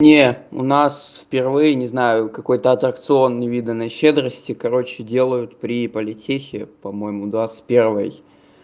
не у нас впервые не знаю какой-то аттракцион невиданной щедрости короче делают при политехе по-моему двадцать первой